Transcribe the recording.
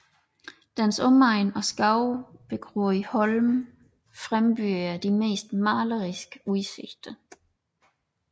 Dens omegn og skovbegroede holme frembyder de mest maleriske udsigter